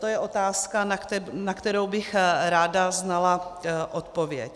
To je otázka, na kterou bych ráda znala odpověď.